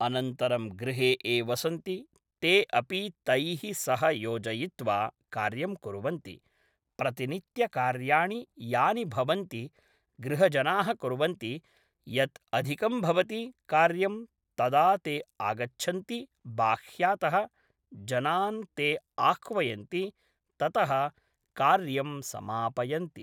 अनन्तरं गृहे ये वसन्ति ते अपि तैः सह योजयित्वा कार्यं कुर्वन्ति प्रतिनित्यकार्याणि यानि भवन्ति गृहजनाः कुर्वन्ति यत् अधिकं भवति कार्यं तदा ते आगच्छन्ति बाह्यतः जनान् ते आह्वयन्ति ततः कार्यं समापयन्ति